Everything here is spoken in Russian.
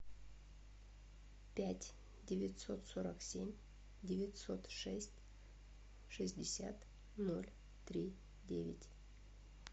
пять девятьсот сорок семь девятьсот шесть шестьдесят ноль три девять